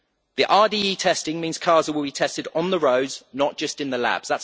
The RDE testing means cars that will be tested on the roads, not just in the labs.